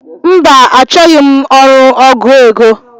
Mba, achọghị m ọrụ ọgụ égo.